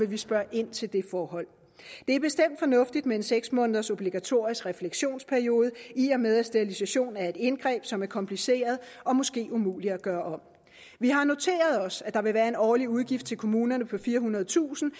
vi spørge ind til det forhold det er bestemt fornuftigt med en seks måneders obligatorisk refleksionsperiode i og med at sterilisation er et indgreb som er kompliceret og måske umuligt at gøre om vi har noteret os at der vil være en årlig udgift til kommunerne på firehundredetusind